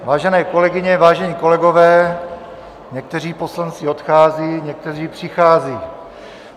Vážené kolegyně, vážení kolegové, někteří poslanci odcházejí, někteří přicházejí.